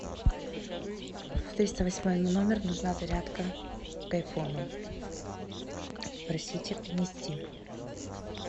в триста восьмой номер нужна зарядка к айфону попросите принести